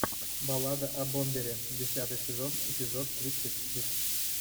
баллада о бомбере десятый сезон эпизод тридцать шесть